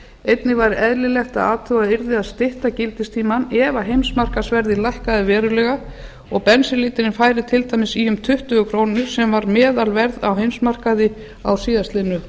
einnig væri eðlilegt að athugað yrði að stytta gildistímann ef heimsmarkaðsverðið lækkaði verulega og bensínlítrinn færi til dæmis í um tuttugu krónur sem var meðalverð á heimsmarkaði á síðastliðnu